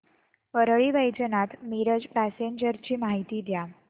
Parli Vaijnath Miraj passenger ची माहिती द्या